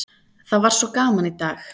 Það var svo gaman í dag!